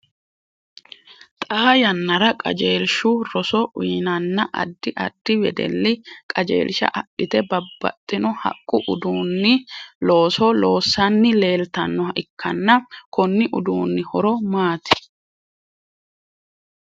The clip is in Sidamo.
Xaa yannara qajeelshu roso uyinnanna addi addi wedeli qajeelsha adhite babbaxino haqu uduunni looso loosanni leeltanoha ikanna konni uduunni horo maati?